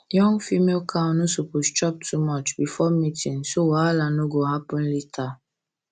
young female cow no suppose chop too much um before mating so wahala no go happen later um